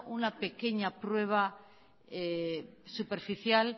una pequeña prueba superficial